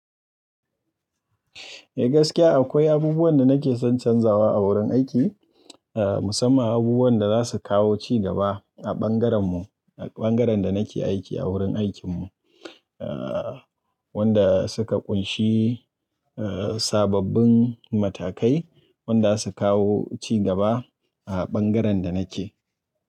Eh gaskiya akwai abubuwan da nake son canzawa a wurin aiki, musamman abubuwan da za su kawo cigaba a ɓangaren mu, a ɓangaren da nake aiki a wurin aikin mu. Wanda suka ƙunshi sababbin matakai wanda za su kawo cigaba a ɓangaren da nake.